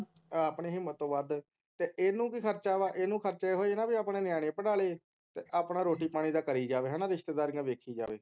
ਆਪਣੀ ਹਿੰਮਤ ਤੋਂ ਵੱਧ ਤੇ ਇਹਨੂੰ ਕਿ ਖਰਚਾ ਵਾ ਇਹਨੂੰ ਤਾ ਇਹੋ ਹੀ ਹੈ ਨਾ ਕੇ ਆਪਣੇ ਨਿਆਣੇ ਪੜ੍ਹਾ ਲਏ ਤੇ ਆਪਣਾ ਰੋਟੀ ਪਾਣੀ ਦਾ ਕਰੀ ਜਾਏ ਹੈਨਾ ਰਿਸ਼ਤੇਦਾਰੀਆਂ ਦੇਖੀ ਜਾਏ